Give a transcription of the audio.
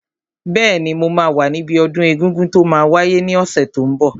Bẹ́ẹ̀ni, mo máa wà níbi ọdún egungun tó máa wáyé ní ọ̀sẹ̀ tó n bọ̀